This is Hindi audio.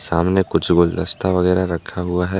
सामने कुछ गुलदस्ता वगैरा रखा हुआ है।